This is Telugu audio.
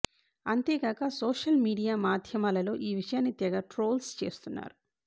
అంతేగాక సోషల్ మీడియా మాధ్యమాలలో ఈ విషయాన్ని తెగ ట్రోల్స్ చేస్తున్నారు